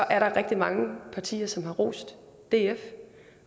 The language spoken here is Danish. er der rigtig mange partier som har rost df